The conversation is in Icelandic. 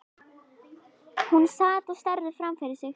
Hún sat og starði framfyrir sig.